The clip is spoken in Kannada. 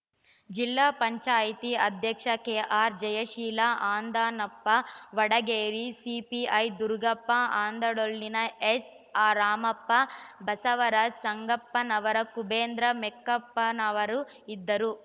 ಜಿಲ್ಲಾ ಪಂಚಾಯತ್ ಅಧ್ಯಕ್ಷೆ ಕೆಆರ್‌ ಜಯಶೀಲ ಅಂದಾನಪ್ಪ ವಡಗೇರಿ ಸಿಪಿಐ ದುರುಗಪ್ಪ ಆನಂದಡೊಳ್ಳಿನ ಎಸ್‌ರಾಮಪ್ಪ ಬಸವರಾಜ ಸಂಗಪ್ಪನವರ ಕುಬೇಂದ್ರ ಮೆಕ್ಕಪನವರ ಇದ್ದರು